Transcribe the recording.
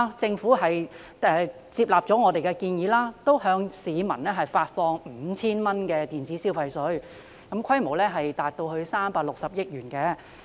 政府接納我們的建議，向市民發放 5,000 元電子消費券，規模達到360億元。